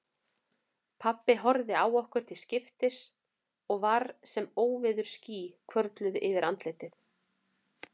Pabbi horfði á okkur til skiptis og var sem óveðursský hvörfluðu yfir andlitið.